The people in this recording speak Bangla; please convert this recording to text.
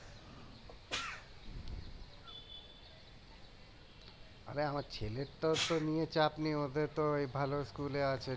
আরে আমার ছেলের তো ওতো নিয়ে চাপ নেই ওদের তো ওই ভালো স্কুলে আছে